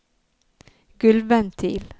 gulvventil